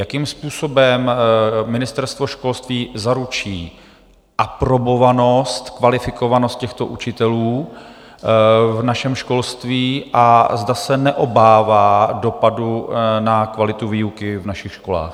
Jakým způsobem Ministerstvo školství zaručí aprobovanost, kvalifikovanost těchto učitelů v našem školství a zda se neobává dopadu na kvalitu výuky v našich školách?